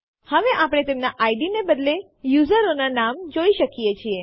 હવે આપણે તેમના ઇડ ને બદલે યુઝરોના નામ જોઈ શકીએ છીએ